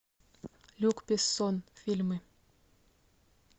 люк бессон фильмы